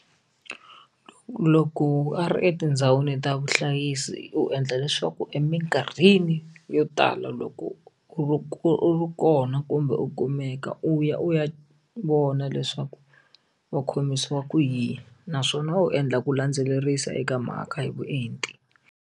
Loko a ri etindhawini ta vuhlayisi u endla leswaku emikarhini yo tala loko u ri u ri kona kumbe u kumeka u ya u ya vona leswaku va khomisiwa ku yini naswona u endla ku landzelerisa eka mhaka hi vuenti.